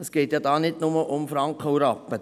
Hier geht es ja nicht nur um Franken und Rappen.